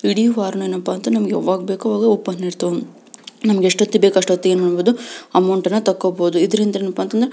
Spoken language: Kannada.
ಇಡೀ ವಾರ ಏನ್ಪ್ಪಾ ಅಂದ್ರೆ ನಮಗ್ ಯಾವಾಗ್ ಬೇಕು ಅವಾಗ ಓಪನ್ ಇರ್ತವು ನಮಗ ಯೆಸ್ಟ್ ಹೊತಿಗೆ ಬೇಕು ಅಸ್ಟೊತ್ತಿಗೆ ಅಮೌಂಟ್ ಅನ್ನು ತಕ್ಕೋಬಹುದು ಇದರಿಂದ ಏನಪ--